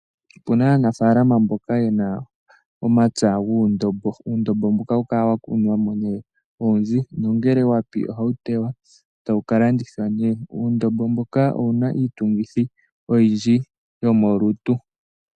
Opena aanafaalama mboka yena omapya guundombo, uundombo mboka ohawu kala wakunwamo nee owundji nongele wapi ohawu tewa etawu kalandithwa, uundombo mbuka owuna iitungithi oyindji yomolutu.